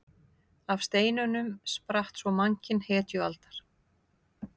Af steinunum spratt svo mannkyn hetjualdar.